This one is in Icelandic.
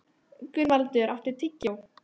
Gunnvaldur, áttu tyggjó?